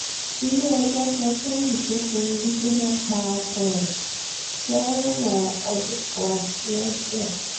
ilé-ẹjọ́ sọ tọ́yìn tó fomi gbígbóná pa ọkọ ẹ̀ sẹ́wọ̀n ọdún kan lọ́dọ̀